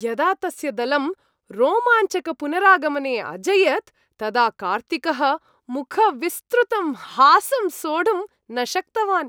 यदा तस्य दलं रोमाञ्चकपुनरागमने अजयत्, तदा कार्तिकः मुखविस्तृतं हासं सोढुं न शक्तवान्।